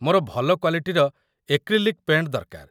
ମୋର ଭଲ କ୍ୱାଲିଟିର ଏକ୍ରିଲିକ୍ ପେଣ୍ଟ୍ ଦରକାର ।